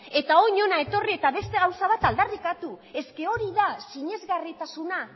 eta orain hona etorri eta beste gauza bat aldarrikatu hori da sinesgarritasuna